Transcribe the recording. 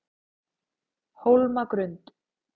Hólmagrund